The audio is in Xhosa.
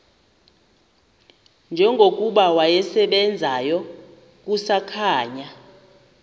njengokuba wasebenzayo kusakhanya